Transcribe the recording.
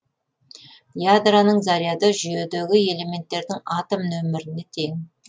ядроның заряды жүйедегі элементтердің атом нөміріне тең